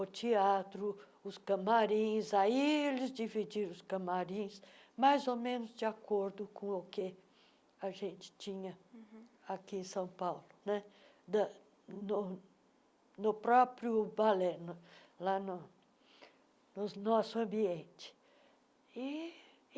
o teatro, os camarins, aí eles dividiram os camarins mais ou menos de acordo com o que a gente tinha uhum aqui em São Paulo né, da no no próprio balé, lá no no nosso ambiente. ih